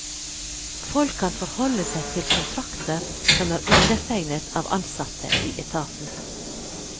Folk kan forholde seg til kontrakter som er undertegnet av ansatte i etaten.